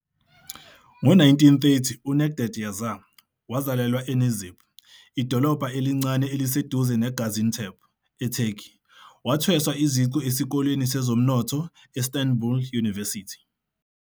Ngo-1930, uNecdet Yaşar wazalelwa eNizip, idolobha elincane eliseduze neGaziantep, eTurkey. Wathweswa iziqu eSikoleni Sezomnotho, e-Istanbul University.